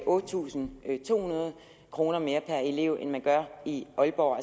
otte tusind to hundrede kroner mere per elev end man gør i aalborg